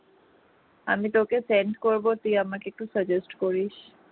আমি তোকে send করব তুই আমাকে একটু suggest করিস